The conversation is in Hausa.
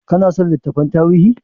Ka na son littattafan tarihi?